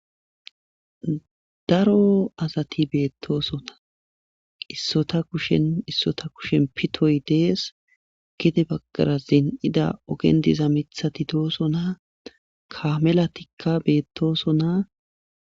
daro asati beettoosota issota kushen issota kushen pitoy dees gide baggara zin7ida ogendiza mithati dooso na kamela tikka beettooso ona